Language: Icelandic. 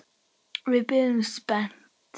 Við biðum spennt.